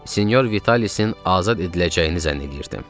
Sinyor Vitalisin azad ediləcəyini zənn eləyirdim.